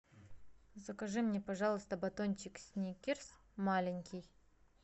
закажи мне пожалуйста батончик сникерс маленький